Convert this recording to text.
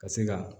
Ka se ka